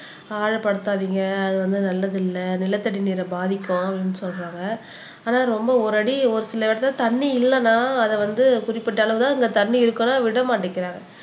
ஆழப் படுத்தாதீங்க அது வந்து நல்லதில்ல நிலத்தடி நீரை பாதிக்கும் அப்படின்னு சொல்றாங்க ஆனா ரொம்ப ஒரு அடி ஒரு சில இடத்தில் தண்ணி இல்லன்னா அதை வந்து குறிப்பிட்ட அளவு தான் அங்க தண்ணி இருக்குன்னா விடமாட்டேங்குறாங்க